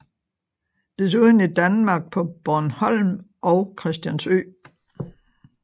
Desuden i Danmark på Bornholm og Christiansø